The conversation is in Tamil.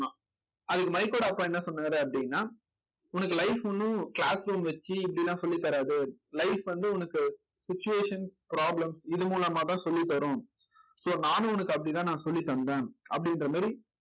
அதுக்கு மைக்கோட அப்பா என்ன சொன்னாரு அப்படின்னா உனக்கு life ஒண்ணும் class room வச்சு இப்படி எல்லாம் சொல்லித் தராது life வந்து உனக்கு situation problems இது மூலமா தான் சொல்லித் தரும் so நானும் உனக்கு அப்படித்தான் நான் சொல்லித் தந்தேன் அப்படின்ற மாதிரி